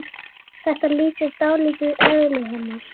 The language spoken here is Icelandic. Þetta lýsir dálítið eðli hennar.